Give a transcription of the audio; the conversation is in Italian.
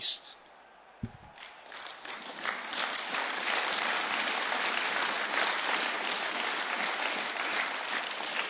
Per quanto riguarda l'interpretazione del regolamento, essendo la prima volta che si vota